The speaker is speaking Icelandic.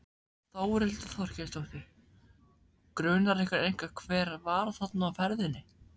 Þórhildur Þorkelsdóttir: Grunar ykkur eitthvað hver var þarna á ferðinni?